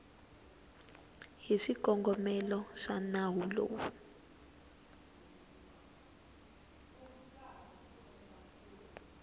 hi swikongomelo swa nawu lowu